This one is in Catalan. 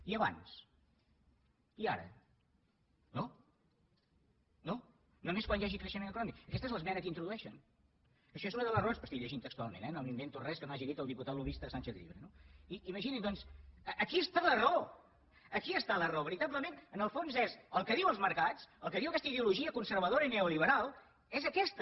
i abans i ara no només quan hi hagi creixement econòmic aquesta és l’esmena que introdueixen això és una de les raons estic llegint textualment eh no m’invento res que no hagi dit el diputat lobbista sánchez llibre no imaginin doncs aquí està la raó aquí està la raó veritablement en el fons és el que diuen els mercats el que diu aquesta ideologia conservadora i neoliberal és aquesta